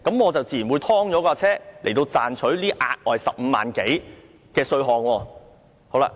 我自然會把車輛"劏"掉，賺取這額外的15萬元多稅項。